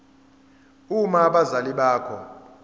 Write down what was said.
uma abazali bakho